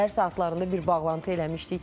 Səhər saatlarında bir bağlantı eləmişdik.